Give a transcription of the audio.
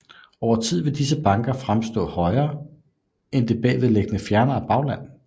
Over tid vil disse banker fremstå højere end det bagved liggende fjernere bagland